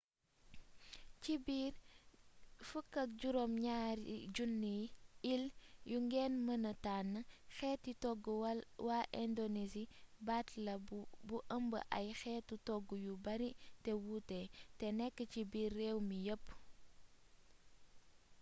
ci biir 17 000 ile yu ngeen mëna tànn xeeti toggu waa indonesi baat la bu ëmb ay xeetu togg yu bari te wuute te nekk ci biir réew mi yépp